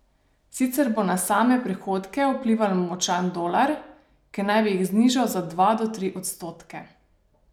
Sicer bo na same prihodke vplival močan dolar, ki naj bi jih znižal za dva do tri odstotke.